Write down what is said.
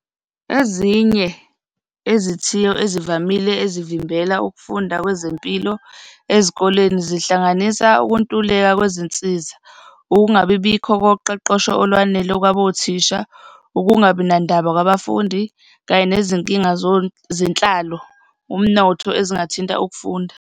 Ezinye izithiyo ezivamile ezivimbela ukufunda kwezempilo ezikoleni, zihlanganisa ukuntuleka kwezinsiza, ukungabibikho koqoqosho olwanele kwabothisha, ukungabi nandaba kwabafundi kanye nezinkinga zenhlalo, umnotho ezingathinta ukufunda.